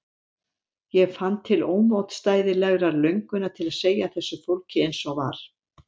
Ég fann til ómótstæðilegrar löngunar til að segja þessu fólki eins og var.